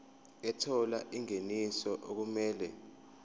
ethola ingeniso okumele